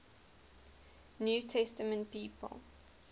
new testament people